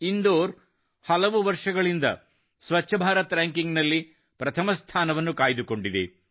ಇಂದೋರ್ ಹಲವು ವರ್ಷಗಳಿಂದ ಸ್ವಚ್ಛ ಭಾರತ್ ರಾಂಕಿಂಗ್ ನಲ್ಲಿ ಪ್ರಥಮ ಸ್ಥಾನವನ್ನು ಕಾಯ್ದುಕೊಂಡಿದೆ